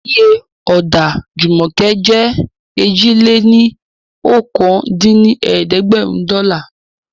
Iye Ọ̀dà Jùmọ̀kẹ́ jẹ́ èjì-lé-ní-okòó dín ní ẹ̀ẹ́dẹ́gbẹ́rún dọ́là